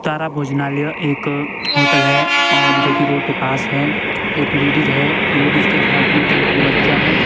तारा भोजनालय एक होटल हैऔर जो कि रोड के पास है एक लेडीज है लेडीज के हाथ में एक बच्चा है।